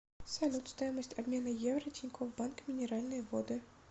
салют стоимость обмена евро тинькофф банк минеральные воды